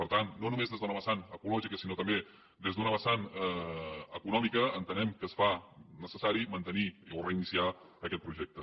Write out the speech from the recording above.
per tant no només des d’un vessant ecològic sinó també des d’un vessant econòmic entenem que es fa necessari mantenir o reiniciar aquest projecte